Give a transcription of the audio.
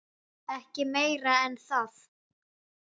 Ekki meira en það.